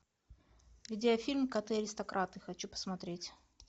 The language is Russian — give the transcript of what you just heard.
видеофильм коты аристократы хочу посмотреть